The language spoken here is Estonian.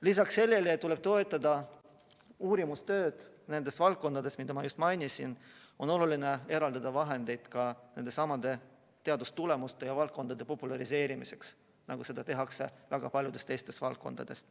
Lisaks sellele, et tuleb toetada uurimistööd nendes valdkondades, mida ma just mainisin, on oluline eraldada vahendeid ka nendesamade teadustulemuste ja valdkondade populariseerimiseks, nagu seda tehakse väga paljudes teistes valdkondades.